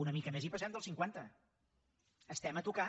una mica més i passem del cinquanta estem a tocar